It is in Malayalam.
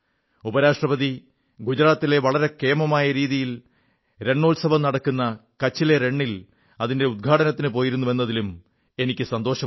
ഉപരാഷ്ട്രപതി ഗുജറാത്തിലെ വളരെ കേമമായ രീതിയിൽ രണോത്സവം നടക്കുന്ന റാൻ ഓഫ് കച്ചിൽ അതിന്റെ ഉദ്ഘാടനത്തിനു പോയിരുന്നുവെന്നതിലും എനിക്ക് സന്തോഷമുണ്ട്